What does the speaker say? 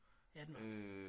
Ja den var